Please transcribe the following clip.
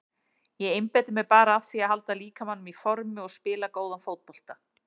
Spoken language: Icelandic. Ég einbeiti mér bara að því að halda líkamanum í formi og spila góðan fótbolta.